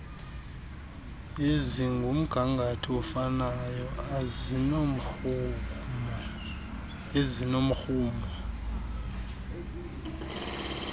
ezingumgangatho ofanayo ezinomrhumo